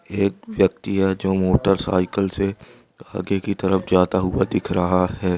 एक ब्यक्ति है जो मोटरसाइकिल से आगे कि तरफ जाता हुआ दिख रहा है।|